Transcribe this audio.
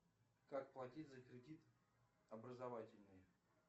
как платить за кредит образовательный